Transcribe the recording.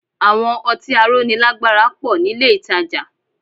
Àwọn ọtí aróni lágbára pọ̀ nílé ìtajà